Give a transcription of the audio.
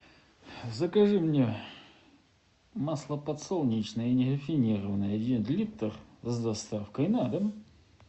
закажи мне масло подсолнечное нерафинированное один литр с доставкой на дом